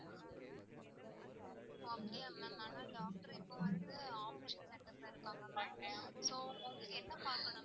ஓ அப்டியா ma'am ஆனா doctor இப்போ வந்து operation theater ல இருக்காங்க ma'am so உங்களுக்கு என்ன பாக்கனும்?